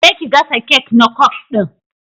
Je ki gasa kek na kwaf din!